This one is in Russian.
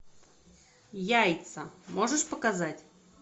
яйца можешь показать